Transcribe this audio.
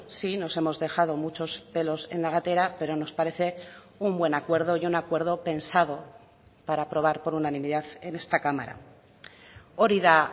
sí nos hemos dejado muchos pelos en la gatera pero nos parece un buen acuerdo y un acuerdo pensado para aprobar por unanimidad en esta cámara hori da